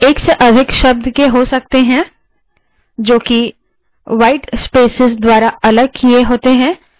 commands एक या एक से अधिक शब्द के हो सकते हैं जो कि white spaces द्वारा अलग किए होते हैं